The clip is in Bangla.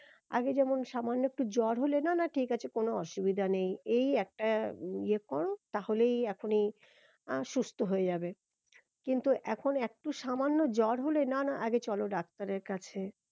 আগে যেমন সামান্য একটু জ্বর হলে না না ঠিক আছে কোনো অসুবিধা নেই এই একটা ইয়ে করো তাহলেই এখনি আহ সুস্থ হয়ে যাবে কিন্তু এখন একটু সামান্য জ্বর হলে না না আগে চলো ডাক্তারের কাছে